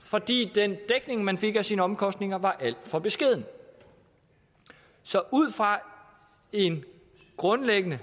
fordi den dækning man fik af sine omkostninger var alt for beskeden så ud fra en grundlæggende